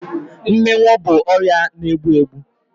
Mminwu bụ ọrịa na egbu egbu